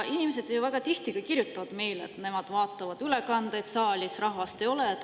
Inimesed väga tihti kirjutavad meile, et nemad vaatavad ülekandeid, saalis rahvast ei ole.